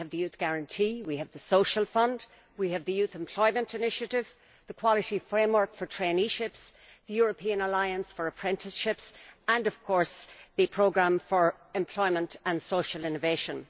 We have the Youth Guarantee, we have the Social Fund, we have the Youth Employment Initiative, the Quality Framework for Traineeships, the European Alliance for Apprenticeships and of course the Programme for Employment and Social Innovation.